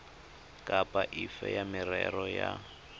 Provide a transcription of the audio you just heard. kapa efe ya merero ya